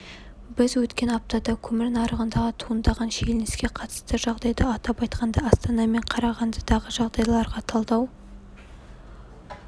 біз өткен аптада көмір нарығындағы туындаған шиеленіске қатысты жағдайды атап айтқанда астана мен қарағандыдағы жағдайларға талдау